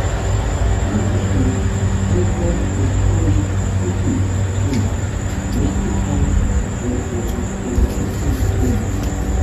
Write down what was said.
na kejii fibrohistriocytic tumor plexiform fibrohistiocytic tumor.